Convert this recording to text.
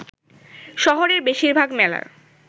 শহরের বেশিরভাগ মেলার